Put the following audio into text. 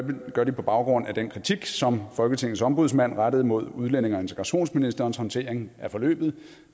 det gør de på baggrund af den kritik som folketingets ombudsmanden rettede mod udlændinge og integrationsministerens håndtering af forløbet